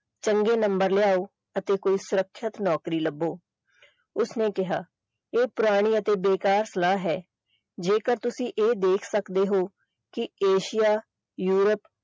ਚੰਗੇ ਨੰਬਰ ਲਿਆਓ ਤੇ ਫੇਰ ਸੁਰੱਖਿਅਤ ਨੌਕਰੀ ਲੱਭੋ ਉਸਨੇ ਕਿਹਾ ਇਹ ਪੁਰਾਣੀ ਅਤੇ ਬੇਕਾਰ ਸਲਾਹ ਹੈ ਜੇਕਰ ਤੁਸੀਂ ਇਹ ਦੇਖ ਸਕਦੇ ਹੋ ਕਿ ਏਸ਼ੀਆ ਯੂਰਪ।